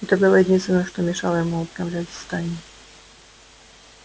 это было единственное что мешало ему управлять стаей